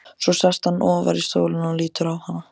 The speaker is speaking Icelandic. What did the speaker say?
Svo sest hann ofar í stólinn og lítur á hana.